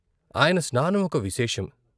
ఆయన స్నానమొక విశేషం.